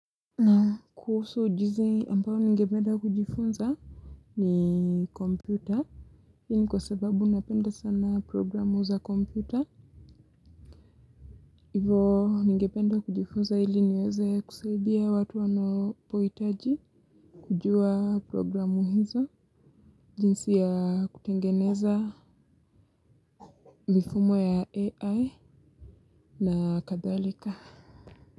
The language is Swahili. Naam, kuhusu ujizi ambao ningependa kujifunza ni kompyuta. Hii ni kwa sababu napenda sana programu za kompyuta. Hivo ningependa kujifunza ili niweze kusaidia watu wanao pohitaji kujua programu hizo. Jinsi ya kutengeneza mifumo ya AI. Na kadhalika. Ha ha ha ha.